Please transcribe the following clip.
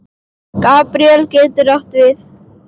Gabríel getur átt við